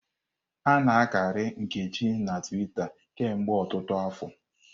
A-na akari Nkechi na Twita kemgbe ọtụtụ afọ.